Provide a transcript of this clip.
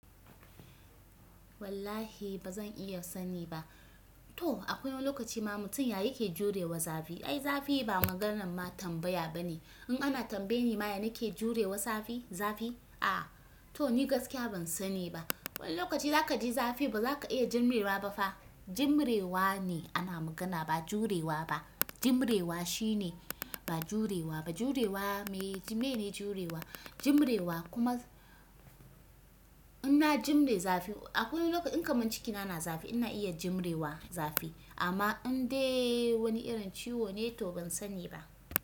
Wallahi ba zan iya sani ba. Toh akwai wani lokaci ma mutum ya yake jurewa zafi. Ai zafi ba maganan ma tambaya ba ne. In ana tambaye ni ma ya nake jurewa zafi, zafi? A, to ni gaskiya ban sani ba. Wani lokaci za kaji zafi ba zaka iya danne wa ba fa. Jimrewa ne ana magana ba jurewa ba. Jimrewa shi ne ba jurewa ba. Jurewa miye, miyene jurewa? Jimrewa kuma in na jimre zafi akwai wani lokaci in kaman cikina na zafi ina iya jimrewa zafi. Amma in dai wani irin ciwo ne to ban sani ba.